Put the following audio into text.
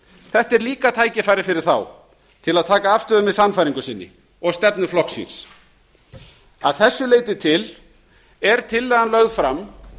þetta er líka tækifæri fyrir þá til að taka afstöðu með sannfæringu sinni og stefnu flokks síns að þessu leyti til er tillagan lögð fram